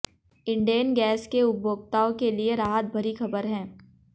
Indane gas के उपभोक्ताओं के लिए राहत भरी खबर है